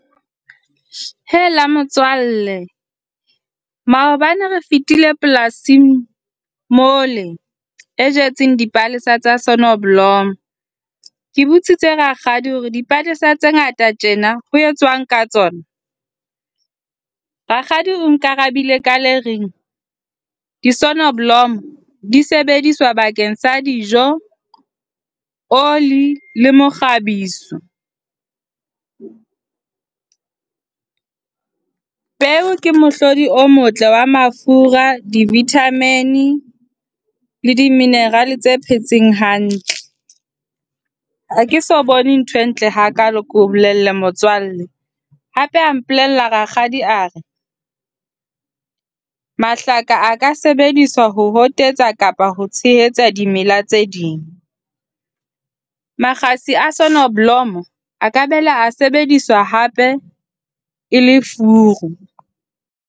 Hela motswalle maobane re fetile polasing mola e jetseng dipalesa tsa sonneblom. Ke botsitse rakgadi hore dipalesa tse ngata tjena ho etswang ka tsona. Rakgadi o nkarabile ka le reng, di-sonneblom di sebediswa bakeng sa dijo, oli le mokgabiso. Peo ke mohlodi o motle wa mafura, di-vitamin D le di-mineral tse phetseng hantle. Ha ke eso bone ntho e ntle hakaalo ke o bolelle motswalle. Hape a mpolella rakgadi a re, mahlaka a ka sebediswa ho hotetsa kapa ho tshehetsa dimela tse ding. Makgasi a sonneblom a ka boela a sebediswa hape e le furu.